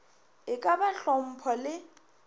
e ka ba hlompho le